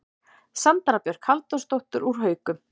Sandra Björk Halldórsdóttir úr Haukum